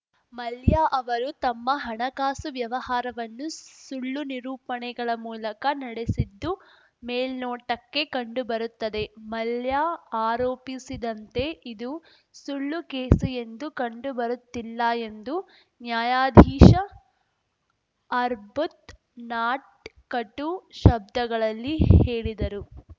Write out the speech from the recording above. ಮಲ್ಯ ಅವರು ತಮ್ಮ ಹಣಕಾಸು ವ್ಯವಹಾರವನ್ನು ಸುಳ್ಳು ನಿರೂಪಣೆಗಳ ಮೂಲಕ ನಡೆಸಿದ್ದು ಮೇಲ್ನೋಟಕ್ಕೆ ಕಂಡುಬರುತ್ತದೆ ಮಲ್ಯ ಆರೋಪಿಸಿದಂತೆ ಇದು ಸುಳ್ಳು ಕೇಸು ಎಂದು ಕಂಡುಬರುತ್ತಿಲ್ಲ ಎಂದು ನ್ಯಾಯಾಧೀಶ ಅರ್ಬತ್‌ನಾಟ್‌ ಕಟು ಶಬ್ದಗಳಲ್ಲಿ ಹೇಳಿದರು